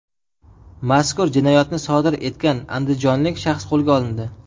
Mazkur jinoyatni sodir etgan andijonlik shaxs qo‘lga olindi.